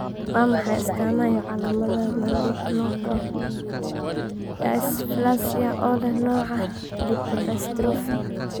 Waa maxay astamaha iyo calaamadaha Mandibuloacral dysplasia oo leh nooca A lipodystrophy?